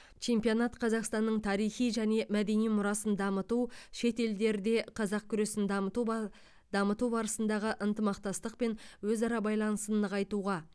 чемпионат қазақстанның тарихи және мәдени мұрасын дамыту шет елдерде қазақ күресін дамыту ба дамыту барысындағы ынтымақтастық пен өзара байланысын нығайтуға